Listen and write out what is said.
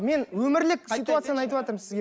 мен өмірлік ситуацияны айтыватырмын сізге